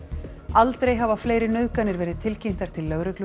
aldrei hafa fleiri nauðganir verið tilkynntar til lögreglu